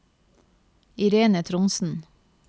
Irene Trondsen